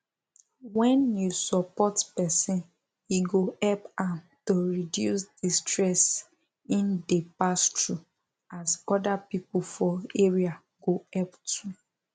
when you support person e go help am to reduce the stress im dey pass through as other people for area go help too